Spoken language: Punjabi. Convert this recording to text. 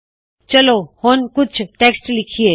ਚਲੋ ਹੁਣ ਕੁਛ ਟੈੱਕਸਟ ਲਿਖਿਏ